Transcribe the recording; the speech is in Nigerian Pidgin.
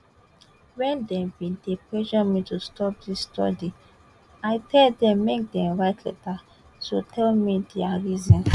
wen dem bin dey pressure me to stop dis study i tell dem make dem write letter to tell me dia reasons